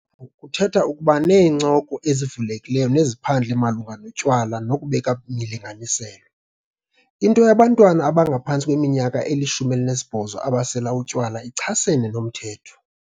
Njengeentsapho, kuthetha ukuba neencoko ezivulekileyo neziphandle malunga notywala nokubeka imilinganiselo. Into yabantwana abangaphantsi kweminyaka eli-18 abasela utywala ichasene nomthetho.